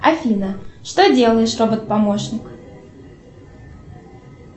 афина что делаешь робот помощник